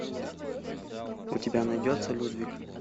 у тебя найдется людвиг